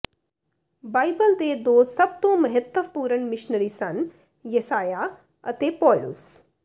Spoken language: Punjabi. ਬਾਈਬਲ ਦੇ ਦੋ ਸਭ ਤੋਂ ਮਹੱਤਵਪੂਰਨ ਮਿਸ਼ਨਰੀ ਸਨ ਯਸਾਯਾਹ ਅਤੇ ਪੌਲੁਸ